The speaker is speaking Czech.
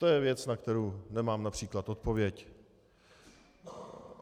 To je věc, na kterou nemám například odpověď.